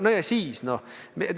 No ja siis?